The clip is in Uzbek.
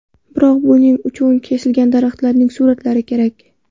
Biroq buning uchun kesilgan daraxtlarning suratlari kerak.